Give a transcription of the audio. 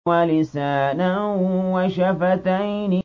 وَلِسَانًا وَشَفَتَيْنِ